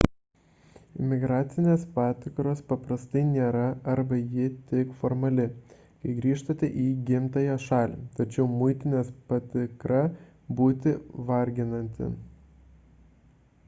imigracinės patikros paprastai nėra arba ji tik formali kai grįžtate į gimtąją šalį tačiau muitinės patikra būti varginanti